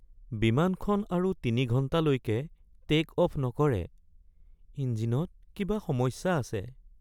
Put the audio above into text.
বিমানখন আৰু ৩ ঘণ্টালৈকে টে'ক অফ্ নকৰে। ইঞ্জিনত কিবা সমস্যা আছে।